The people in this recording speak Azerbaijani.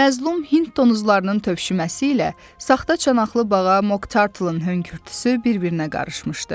məzlum Hind donuzlarının tövşüməsi ilə saxta çanaqlı bağa Moktartlın hönkürtüsü bir-birinə qarışmışdı.